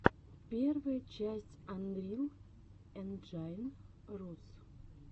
первая часть анрил энджайн рус